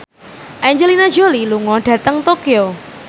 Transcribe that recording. Angelina Jolie lunga dhateng Tokyo